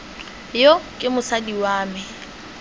yo ke mosadi wa me